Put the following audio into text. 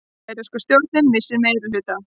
Færeyska stjórnin missir meirihluta